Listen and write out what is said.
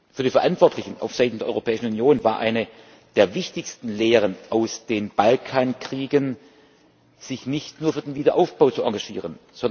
Für die Verantwortlichen aufseiten der Europäischen Union war eine der wichtigsten Lehren aus den Balkankriegen, sich nicht nur für den Wiederaufbau zu engagieren.